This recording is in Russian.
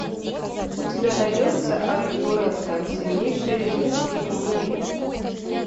у тебя найдется арифурэта сильнейший ремесленник в мире